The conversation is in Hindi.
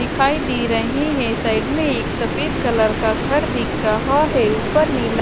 दिखाई दे रहे है साइड में एक सफेद कलर का घर दिख रहा है ऊपर नीला--